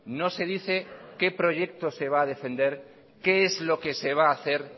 no se dice qué proyecto se va a defender qué es lo que se va a hacer